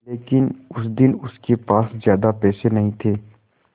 लेकिन उस दिन उसके पास ज्यादा पैसे नहीं थे